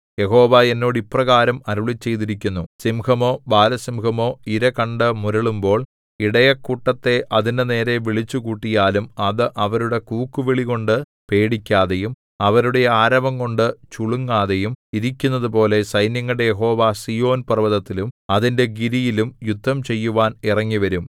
യഹോവ എന്നോട് ഇപ്രകാരം അരുളിച്ചെയ്തിരിക്കുന്നു സിംഹമോ ബാലസിംഹമോ ഇര കണ്ടു മുരളുമ്പോൾ ഇടയക്കൂട്ടത്തെ അതിന്റെ നേരെ വിളിച്ചുകൂട്ടിയാലും അത് അവരുടെ കൂക്കുവിളികൊണ്ടു പേടിക്കാതെയും അവരുടെ ആരവംകൊണ്ടു ചുളുങ്ങാതെയും ഇരിക്കുന്നതുപോലെ സൈന്യങ്ങളുടെ യഹോവ സീയോൻ പർവ്വതത്തിലും അതിന്റെ ഗിരിയിലും യുദ്ധം ചെയ്യുവാൻ ഇറങ്ങിവരും